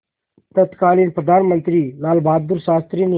तत्कालीन प्रधानमंत्री लालबहादुर शास्त्री ने